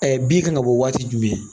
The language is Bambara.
bin kan ka bɔ waati jumɛn?